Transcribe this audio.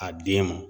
A den ma